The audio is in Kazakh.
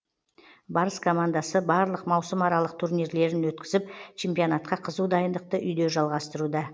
барыс командасы барлық маусымаралық турнирлерін өткізіп чемпионатқа қызу дайындықты үйде жалғастыруда